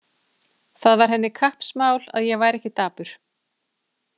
Það var henni kappsmál að ég væri ekki dapur.